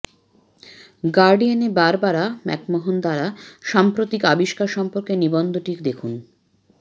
guardian এ Barbara McMahon দ্বারা এই সাম্প্রতিক আবিষ্কার সম্পর্কে নিবন্ধটি দেখুন